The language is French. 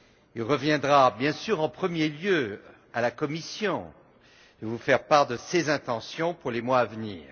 Il reviendra bien sûr en premier lieu à la Commission de vous faire part de ses intentions pour les mois à venir.